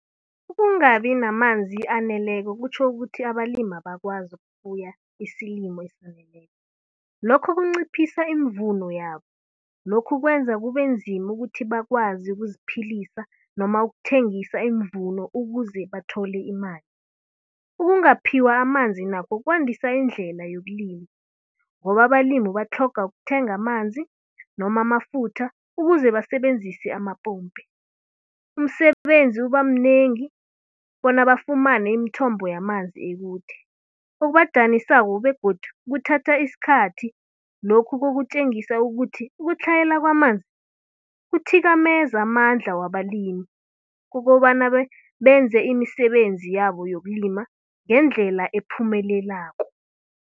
Ukungabi namanzi aneleko, kutjho ukuthi abalimi abakwazi ukufuya isilimo esaneleko. Lokho kunciphisa iimvuno yabo. Lokhu kwenza kube nzima ukuthi bakwazi ukuziphilisa noma ukuthengisa iimvuno ukuze bathole imali. Ukungaphiwa amanzi nakho kwandisa indlela yokulima ngoba abalimi batlhoga ukuthenga amanzi noma amafutha ukuze basebenzise amapompi. Umsebenzi uba mnengi bona bafumane imthombo yamanzi ekude, okubadanisako begodu kuthatha iskhathi. Lokhu kutjengisa ukuthi, ukutlhayela kwamanzi, kuthikameza amandla wabalimi, kukobana benze imisebenzi yabo yokulima ngendlela ephumelelako.